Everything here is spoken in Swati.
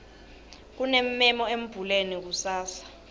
kunemmemo embuleni kusasa